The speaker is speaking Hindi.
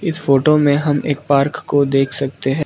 इस फोटो में हम एक पार्क को देख सकते हैं।